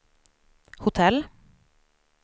hotell